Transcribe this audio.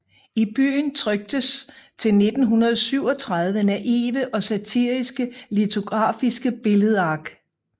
I byen tryktes til 1937 naive og satiriske lithografiske billedark